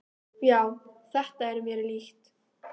"""Já, þetta er mér líkt."""